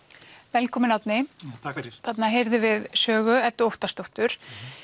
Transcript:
velkominn Árni takk fyrir þarna heyrðum við Sögu Eddu Óttarsdóttir